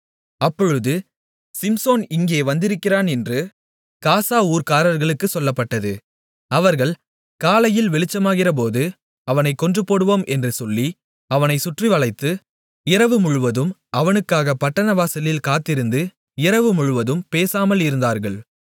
அப்பொழுது சிம்சோன் இங்கே வந்திருக்கிறான் என்று காசா ஊர்க்காரர்களுக்குச் சொல்லப்பட்டது அவர்கள் காலையில் வெளிச்சமாகிறபோது அவனைக் கொன்றுபோடுவோம் என்று சொல்லி அவனை சுற்றிவளைத்து இரவுமுழுவதும் அவனுக்காகப் பட்டணவாசலில் காத்திருந்து இரவு முழுவதும் பேசாமல் இருந்தார்கள்